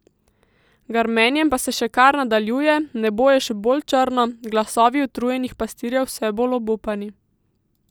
Grmenje pa se še kar nadaljuje, nebo je še bolj črno, glasovi utrujenih pastirjev vse bolj obupani.